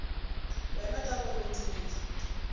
wena ka gore o tumile